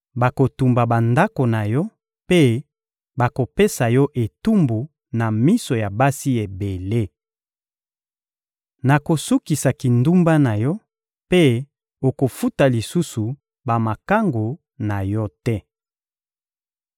Bakotumba bandako na yo mpe bakopesa yo etumbu na miso ya basi ebele. Nakosukisa kindumba na yo, mpe okofuta lisusu bamakangu na yo te.